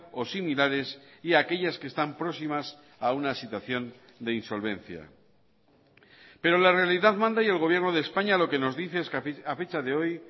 o similares y aquellas que están próximas a una situación de insolvencia pero la realidad manda y el gobierno de españa lo que nos dice es que a fecha de hoy